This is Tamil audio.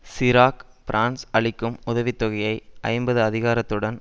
சிராக் பிரான்ஸ் அளிக்கும் உதவி தொகையை ஐம்பது அதிகரித்ததுடன்